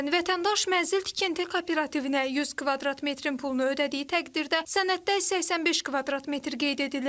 Məsələn, vətəndaş mənzil tikinti kooperativinə 100 kvadrat metrin pulunu ödədiyi təqdirdə sənəddə 85 kvadrat metr qeyd edilir.